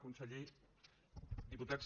conseller diputats